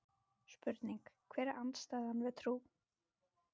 Spurning: Hver er andstæðan við trú?